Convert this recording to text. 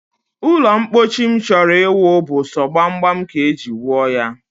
Ụlọmkpochi m chọrọ iwu bụ so gbamgbam ka m e ji wuo ya